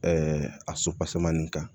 a sopaseman nin kan